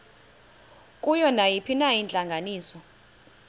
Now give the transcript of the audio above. kuyo nayiphina intlanganiso